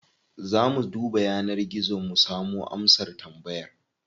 Za mu duba yanar gizo mu samo amsar tambayar.